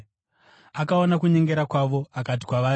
Akaona kunyengera kwavo akati kwavari,